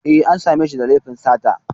E, an sa me shi da laifin sata